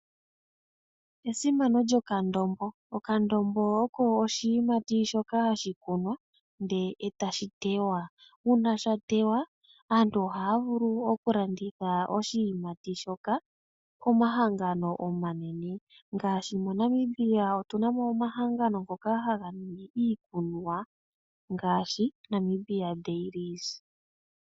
Esimano lyokandombo. Okando oko oshiyimati shoka hashi kunwa ndele tashi teywa. Uuna sha teywa aantu ohaya vulu okulanditha oshiyimati shoka komahangano omanene ngaashi moNamibia otunamo omahangano ngoka haga ningi uukunwa ngaashi Namibia Dairies.